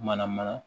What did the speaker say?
Mana mana